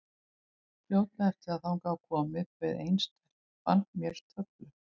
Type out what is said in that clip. Fljótlega eftir að þangað var komið bauð ein stelpan mér töflu.